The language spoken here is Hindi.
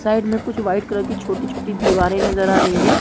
साइड में कुछ वाइट कलर की छोटी-छोटी दीवारें नज़र आ रही है।